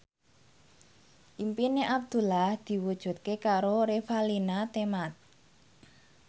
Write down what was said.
impine Abdullah diwujudke karo Revalina Temat